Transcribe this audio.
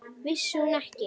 Vissi hún ekki?